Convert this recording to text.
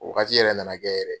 O wagati yɛrɛ na na kɛ yɛrɛ.